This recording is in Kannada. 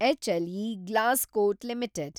HLE Glascoat limited